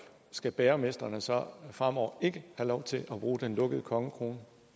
skal bagermestrene så fremover ikke have lov til at bruge den lukkede kongekrone